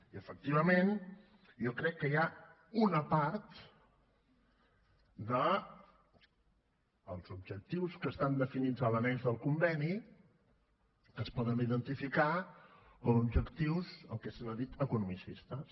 i efectivament jo crec que hi ha una part dels objectius que estan definits a l’annex del conveni que es poden identificar com a objectius el que se n’ha dit economicistes